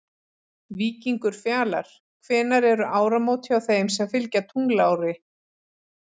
Víkingur Fjalar Hvenær eru áramót hjá þeim sem fylgja tunglári?